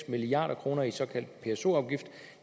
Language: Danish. milliard kroner i såkaldt pso afgift